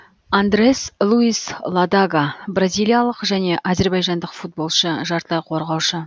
андре луис ладага бразилиялық және әзірбайжандық футболшы жартылай қорғаушы